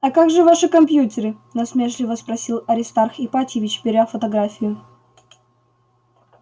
а как же ваши компьютеры насмешливо спросил аристарх ипатьевич беря фотографию